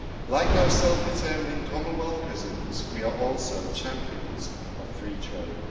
Like our self determining Commonwealth cousins we are also champions of free trade.